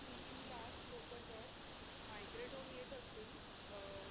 तीन तीन लाख लोक जर migrate होऊन येत असतील अह